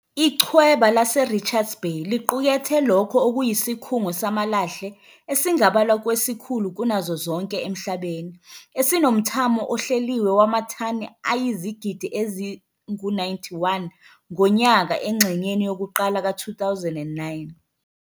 Ichweba laseRichards Bay liqukethe lokho okuyisikhungo samalahle esingabalwa kwesikhulu kunazo zonke emhlabeni, esinomthamo ohleliwe wamathani ayizigidi ezingu-91 ngonyaka engxenyeni yokuqala ka-2009.